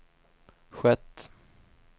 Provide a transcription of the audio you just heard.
skett